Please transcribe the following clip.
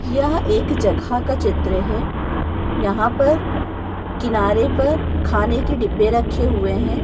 यह एक जगह का चित्र है। यहा पर किनारे पर खाने के डिब्बे रखे हुए है।